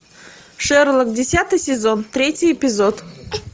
шерлок десятый сезон третий эпизод